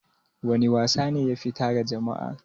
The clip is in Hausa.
Wana wasa ne yafi tara jama'a?